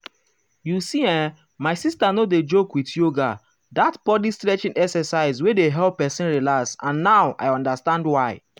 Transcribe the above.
you see[um]my sister no dey joke with yoga that body-stretching exercise wey dey help person relax and now i understand why